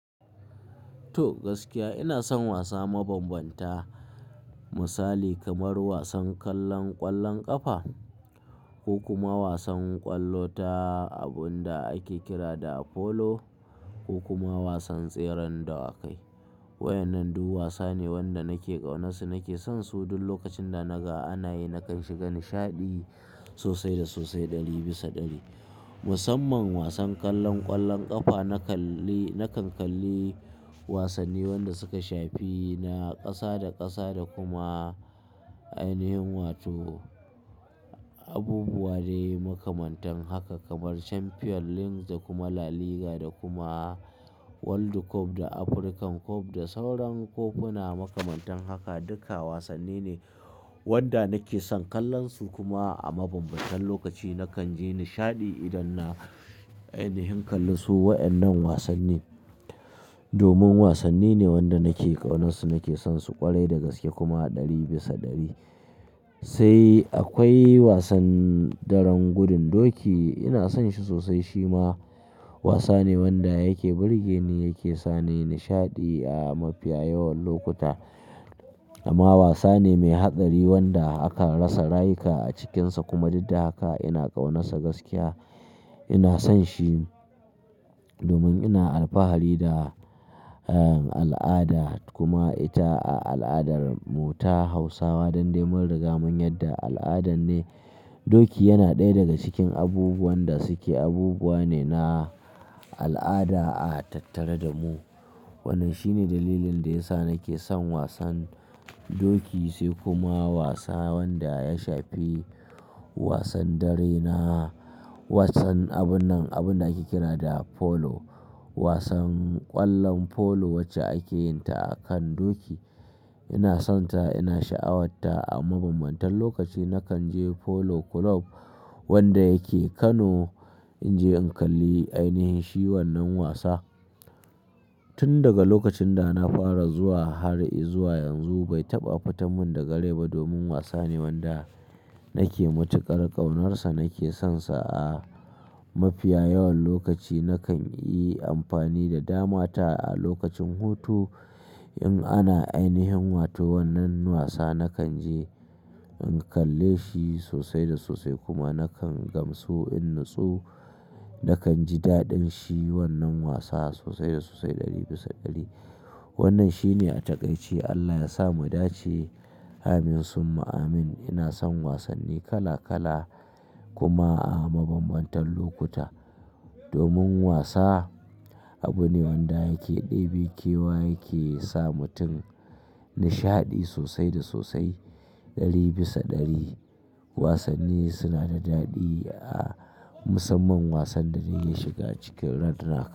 To gaskiya ina son wasa mabambanta, misali kamar wasan ƙwallon ƙafa ko kuma wasan ƙwallo ta abin da ake kira da polo ko kuma wasan tseren dawakai. Waɗannan duk wasane wanda nake ƙaunarsu, nake sonsu duk lokacin da naga ana yi nakan shiga nishaɗi sosai da sosai ɗari bisa ɗari. Musamman wasan ƙwallon ƙafa nakan ƙalli wasanni wanda suka shafi na ƙasa da ƙasa da kuma ainihin wato abubuwa dai makamantan haka kamar Champion League da kuma La Liga da kuma World Cup da African Cup da sauran kofuna makamantan haka duka wasanni ne wanda nake son ƙallonsu kuma a mabambantan lokaci nakan ji nishaɗi idan na ainihin ƙalli su. Waɗannan wasanni domin wasanni ne wanda nake ƙaunarsu nake sonsu ƙwarai da gaske kuma ɗari bisa ɗari. Sai akwai wasan tseren gudun doki ina son shi sosai shi ma wasa ne wanda yake burge ni yake sa ni nishaɗi a mafiya yawan lokuta. Amma wasa ne mai haɗari wanda aka rasa rayuka a cikinsa kuma duk da haka ina ƙaunarsa gaskiya ina son shi domin ina alfahari da al'ada kuma ita al'adarmu ta Hausawa don dai mun riga mun yadda al'ada ne. Doki yana ɗaya daga cikin abubuwan da suke abubuwa ne na al'ada a tattare da mu. Wannan shi ne dalilin da ya sa nake son wasan doki sai kuma wasa wanda ya shafi wasan dare na wasan abin nan abin da ake kira da polo. Wasan ƙwallon polo wacce ake yin ta akan doki ina sonta ina sha'awarta a mabambantan lokaci nakan je Polo Club wanda yake Kano in je in ƙalli ainihin shi wannan wasa. Tun daga lokacin da na fara zuwa har zuwa yanzu bai taɓa fita min daga rai ba domin wasa ne wanda nake matuƙar ƙaunarsa nake sonsa a mafi yawan lokaci nakan yi amfani da damata a lokacin hutu in ana ainihin wato wannan wasa nakan je in ƙalle shi sosai da sosai kuma nakan gamsu in nutsu nakan ji daɗin shi wannan wasa sosai da sosai ɗari bisa ɗari. Wannan shi ne a taƙaice Allah ya sa mu dace amin summa amin. Ina son wasanni kala kala kuma a mabambantan lokuta domin wasa abu ne wanda yake ɗebi kewa yake sa mutum nishaɗi sosai da sosai ɗari bisa ɗari. Wasanni suna da daɗi a musamman wasan da na shiga cikin ran rak.